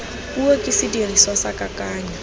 puo ke sediriswa sa kakanyo